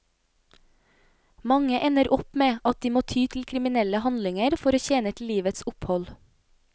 Mange ender opp med at de må ty til kriminelle handlinger for å tjene til livets opphold.